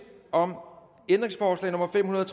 om ændringsforslag nummer fem hundrede og